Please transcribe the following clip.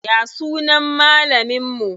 Ya sunan malamin mu?